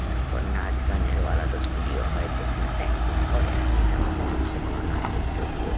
তারপর নাচগানেরও আলাদা ষ্টুডিও হয় যেখানে প্রাকটিস করে আর কি। তা ও মনে হচ্ছে কোনো নাচের ষ্টুডিও ।